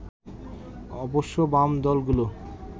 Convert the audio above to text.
অবশ্য বাম দলগুলো